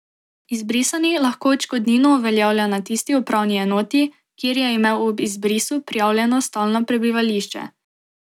Izbrisani lahko odškodnino uveljavlja na tisti upravni enoti, kjer je imel ob izbrisu prijavljeno stalno prebivališče.